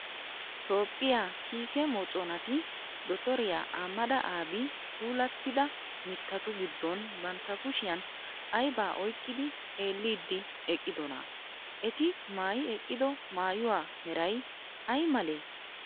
Toophphiyaa kiike moconantti dottoriya Ahmada Abii puulattida mittatu giddon bantta kushiyan ayibaa oyqqidi xeelliiddi eqqidonaa? Eti maayi eqqido maayuwaa merayi ayi malee?